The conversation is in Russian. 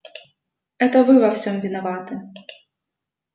это вы во всём виноваты